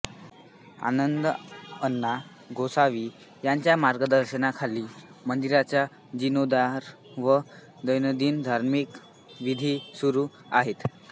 आनंदआण्णा गोसावी यांच्या मार्गदर्शनाखाली मंदिराचा जिर्णोद्धार व दैनंदिन धार्मिक विधी सुरू आहेत